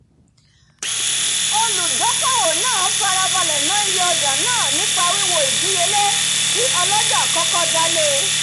olùdókòwò náà farabalẹ̀ àbójútó ná iye ọjà náà nípa wiwo ìdíyelé tí ọlọ́jà kọ́kọ́ dá le